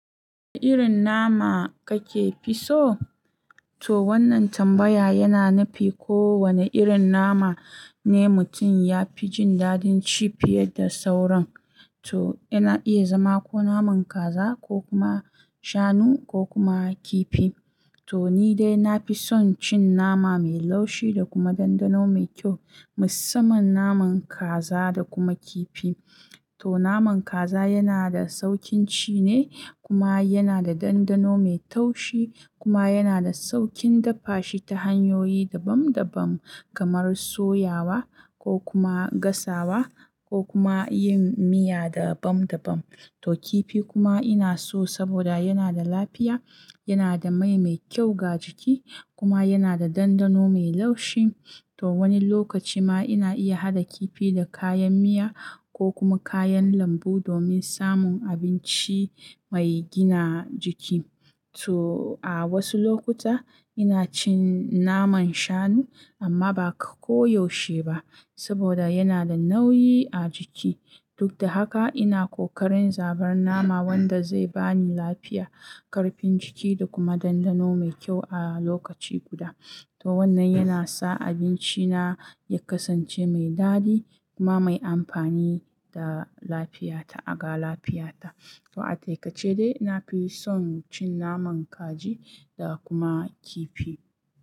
Wane irin nama kake fi so? To wannan tambaya yana nufi ko wane irin nama ne mutum ya fi jin dadin ci fiye da sauran. To yana iya zama ko naman kaza, ko kuma shanu, ko kuma kifi. To ni dai na fi son cin nama mai laushi da kuma dandano mai kyau, musamman naman kaza da kuma kifi. To naman kaza yana da saukin ci ne kuma yana da dandano mai taushi kuma yana da saukin dafa shi ta hanyoyi daban daban kamar soyawa ko kuma gasawa ko kuma yin miya dabam dabam. To kifi kuma ina so saboda yana da lafiya, yana da mai mai kyau ga jiki kuma yana da dandano mai laushi. To wani lokaci ma ina iya haɗa kifi da kayan miya ko kuma kayan lambu domin samun abinci mai gina jiki. To a wasu lokuta ina cin naman shanu amma ba koyaushe ba saboda yana da nauyi a jiki. Duk da haka, ina kokarin zabar nama wanda zai bani lafiya, karfin jiki da kuma dandano mai kyau a lokaci guda. To wannan yana sa abinci na ya kasance mai daɗi kuma mai amfani da lafiya ta aga lafiya ta. To a taƙaice dai na fi son cin naman kaji da kuma kifi.